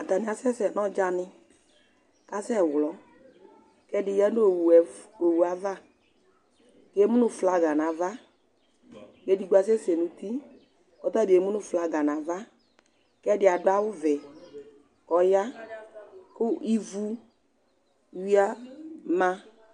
Atani asɛsɛ nɔ ɔdjani, asɛ wlɔ, kɛdi yanu owωva Emunu flaga nava, edigbo asɛsɛ nu uti kɔtabi emunu flaga nava, kɛ dia du awu ɔvɛ kɔya, ivu yama